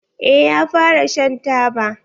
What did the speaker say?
Eh ya fara shan taba.